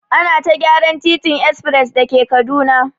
Ana ta gyaran titin espres da ke Kaduna.